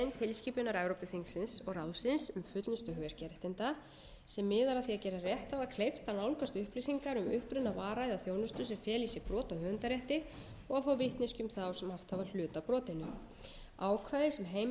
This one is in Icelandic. tilskipunar evrópuþingsins og ráðsins um fullnustu hugverkaréttinda sem miðar að því að gera rétthafa kleift að nálgast upplýsingar um uppruna vara eða þjónustu sem fela í sér brot á höfundarétti og að fá vitneskju um þá sem átt hafa hlut að brotinu ákvæði sem heimilar